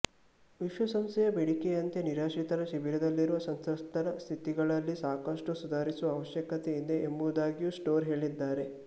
ವಿಶ್ವಸಂಸ್ಥೆಯ ಬೇಡಿಕೆಯಂತೆ ನಿರಾಶ್ರಿತರ ಶಿಬಿರದಲ್ಲಿರುವ ಸಂತ್ರಸ್ತರ ಸ್ಥಿತಿಗತಿಗಳಲ್ಲಿ ಸಾಕಷ್ಟು ಸುಧಾರಿಸುವ ಅವಶ್ಯಕತೆ ಇದೆ ಎಂಬುದಾಗಿಯೂ ಸ್ಟೋರ್ ಹೇಳಿದ್ದಾರೆ